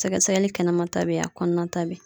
Sɛgɛsɛgɛli kɛnɛmata be ye a kɔnɔnata be ye.